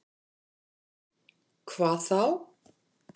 Hvar þá?